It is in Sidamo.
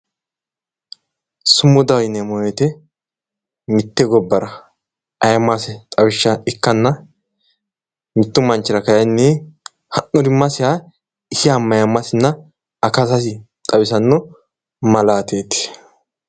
sumudaho yineemmo woyiite mitte gobbara ayiimmase xawishsha ikkanna mittu manchira kayiinni ha'nurimmasiha isiha mayiimmasinna akatasi xawisanno malaateeti.